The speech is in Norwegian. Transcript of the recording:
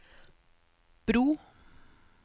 bro